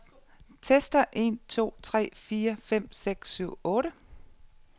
Tester en to tre fire fem seks syv otte.